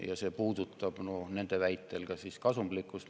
Ja see puudutab nende väitel ka kasumlikkust.